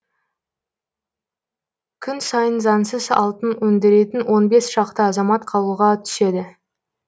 күн сайын заңсыз алтын өндіретін он бес шақты азамат қалуға түседі